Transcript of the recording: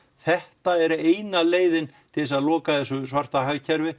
þetta er eina leiðin til að loka þessu svarta hagkerfi